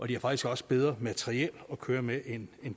de har faktisk også bedre materiel at køre med end